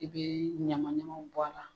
I bɛ ɲamaɲamaw bɔ a la.